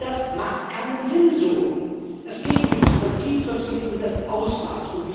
Und das macht keinen Sinn so. Es geht nicht ums Prinzip, sondern es geht um das Ausmaß.